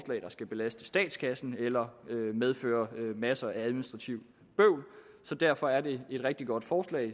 der skal belaste statskassen eller medføre en masse administrativt bøvl derfor er det et rigtig godt forslag